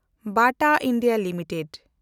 ᱵᱟᱴᱟ India limited